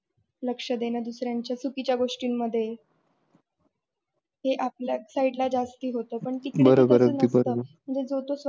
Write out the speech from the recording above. लक्ष देन दुसऱ्यांच्या चुकीच्या गोष्टीमध्ये हे आपल्या side ला च जास्ती होत पण तिकडे तस नसत म्हणजे जो तो स्वतःच्या.